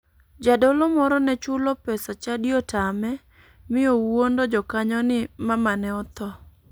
Jadolo moro ne chulo pesa chadi otame mi owuondo jakanyo ni mamane otho.